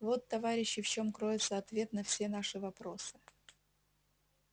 вот товарищи в чём кроется ответ на все наши вопросы